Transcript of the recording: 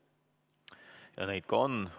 Ja neid ka on.